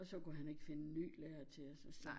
Og så kunne han ikke finde ny lærer til os og så